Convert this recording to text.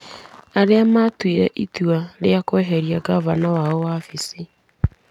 Arĩa maatuire itua rĩa kweheria ngavana wao wabici-inĩ.